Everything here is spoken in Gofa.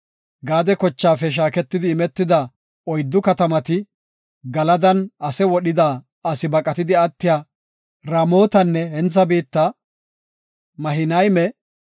Gaade kochaafe shaaketidi imetida oyddu katamati, Galadan ase wodhida asi baqatidi attiya, Ramotanne hentha biitta, Mahinayme,